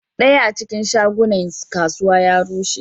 Daya a cikin shagunan kasuwa ya rushe.